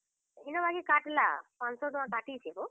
ଇନ ବାକି କାଟ୍ ଲା ପାଞ୍ଚ ଶହ ଟଙ୍କା କାଟିଛେ ବୋ।